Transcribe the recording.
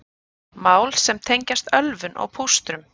Mál sem tengjast ölvun og pústrum